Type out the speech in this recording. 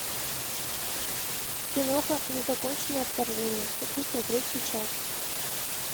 киноха незаконченное вторжение хочу смотреть сейчас